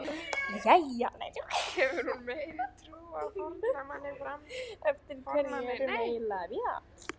Jæja, eftir hverju erum við eiginlega að bíða?